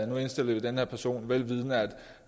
nu indstiller vi den her person vel vidende at